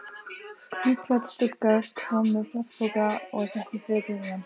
Hvítklædd stúlka kom með plastpoka og setti fötin í hann.